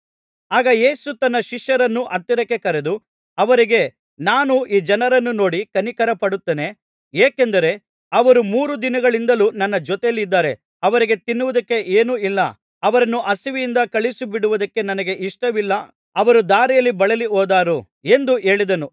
ಆಗ ಯೇಸು ತನ್ನ ಶಿಷ್ಯರನ್ನು ಹತ್ತಿರಕ್ಕೆ ಕರೆದು ಅವರಿಗೆ ನಾನು ಈ ಜನರನ್ನು ನೋಡಿ ಕನಿಕರಪಡುತ್ತೇನೆ ಏಕೆಂದರೆ ಅವರು ಮೂರು ದಿನಗಳಿಂದಲೂ ನನ್ನ ಜೊತೆಯಲ್ಲಿದ್ದಾರೆ ಅವರಿಗೆ ತಿನ್ನುವುದಕ್ಕೆ ಏನೂ ಇಲ್ಲ ಅವರನ್ನು ಹಸಿವಿನಿಂದ ಕಳುಹಿಸಿಬಿಡುವುದಕ್ಕೆ ನನಗೆ ಇಷ್ಟವಿಲ್ಲ ಅವರು ದಾರಿಯಲ್ಲಿ ಬಳಲಿ ಹೋದಾರು ಎಂದು ಹೇಳಿದನು